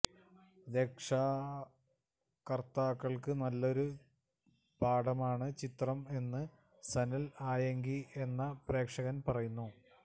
രക്ഷാകർത്തകൾക്ക് നല്ലൊരു പാഠമാണ് ചിത്രം എന്ന് സനൽ ആയങ്കി എന്ന പ്രേക്ഷകന് പറയുന്നു